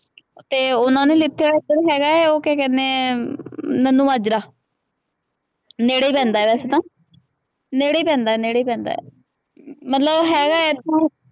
ਅਤੇ ਉਹਨਾ ਨੇ ਲੀਤੇ ਇੱਧਰ ਹੈਗਾ, ਉਹ ਕਿਆ ਕਹਿੰਦੇ ਹੈ, ਮਨੀਮਾਜ਼ਰਾ, ਨੇੜੇ ਹੀ ਪੈਂਦਾ ਵੈਸੇ ਤਾਂ, ਨੇੜੇ ਪੈਂਦਾ, ਨੇੜੇ ਪੈਂਦਾ, ਮਤਲਬ ਹੈਗਾ ਇੱਥੋਂ